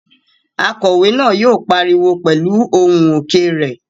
Akòwé náà yóò pariwo pẹ̀lú ohùn òkè rẹ̀